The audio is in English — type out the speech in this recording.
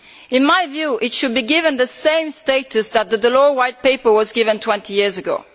In my view, it should be given the same status that the Delors White Paper was given 20 years ago.